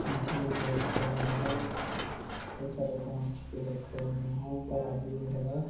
मछली बहोत सारा है हर तरह का मछली रखे हुए है तराजू भी है ।